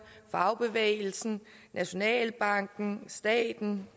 fagbevægelsen nationalbanken staten